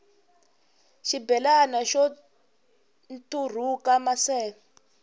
xibelani xo nturhuka maseve